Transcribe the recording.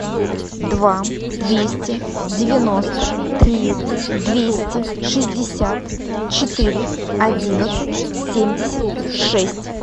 два двести девяносто три двести шестьдесят четыре одиннадцать семьдесят шесть